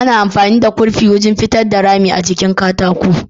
Ana amfani da kurfi wurin pitar da rami a jikin katako